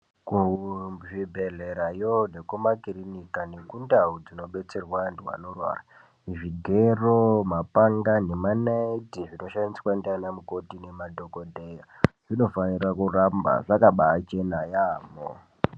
Ku zvibhedhlera yo neku makirinika neku ndau dzino dzino detserwa antu ano rwara zvigero mapanga nema naiti zvino shandiswa ndiana mukoti ne madhokodheya zvino fanira kuramba zvakabai chena yamho.